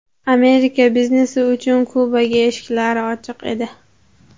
Amerika biznesi uchun Kubaga eshiklari ochiq edi.